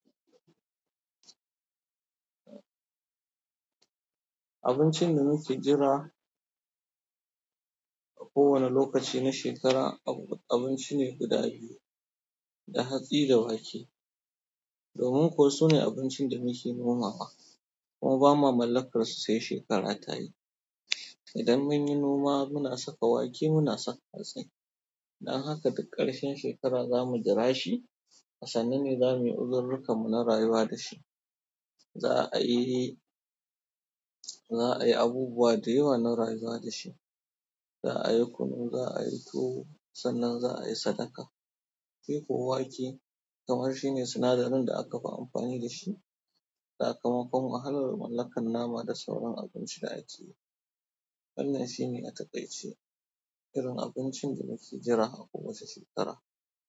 Abincin da muke jira a kowane lokaci na shekara abinci ne guda biyu, da hatsi da wake. Domin ƙuwa su ne abincin da muke nomawa, kuma ba ma mallakarsu sai shekara ta yi. Idan mun yi noma muna saka wake, muna saka hatsi. Dan haka duk ƙarshen shekara za mu jira shi. A sanu ne za mu yi uzururruka mu na rayuwa da shi. Za a yi, za a yi abubuwa da yawa na rayuwa da shi. Za a yi kunu, za a yi tuwo, sannan za a yi sadaka. Shi ko wake kamar shi ne sinadarin da aka fi amfani da shi da sakamakon wahalar mallakar nama da sauran abinci da ake yi. Wannan shi ne a taƙaice irin abincin da muke jira a ko wace shekara.